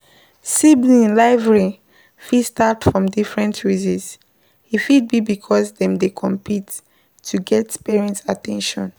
Sibling rivalry fit start for different reasons e fit be because dem dey compete to get parent at ten tion